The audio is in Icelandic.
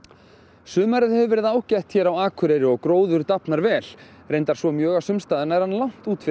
sumarið hefur verið ágætt hér á Akureyri og gróður dafnar vel reyndar svo mjög að sums staðar langt út fyrir